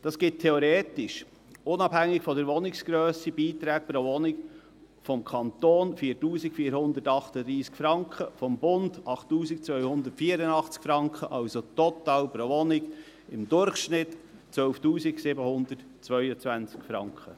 Dies gibt für eine Wohnung theoretisch – unabhängig von der Wohnungsgrösse – Beiträge des Kantons von 4438 Franken, und des Bundes von 8284 Franken, also im Durchschnitt für eine Wohnung total 12 722 Franken.